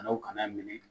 Dɔw kana minɛ